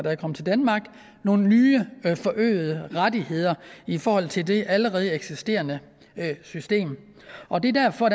er kommet til danmark nogle nye forøgede rettigheder i forhold til det allerede eksisterende system og det er derfor